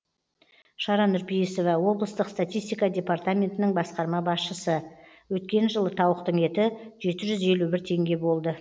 шара нұрпейісова облыстық статистика департаментінің басқарма басшысы өткен жылы тауықтың еті жеті жүз елу бір теңге болды